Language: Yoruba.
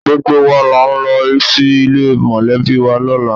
Gbogbo wa là ń lọ sí ilé mọ̀lẹ́bì wa lọ́la